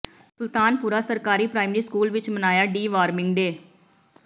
ਸੁਲਤਾਨ ਪੁਰਾ ਸਰਕਾਰੀ primary school ਵਿਚ ਮਨਾਇਆ ਡੀ ਵਾਰਮਿੰਗ ਡੇ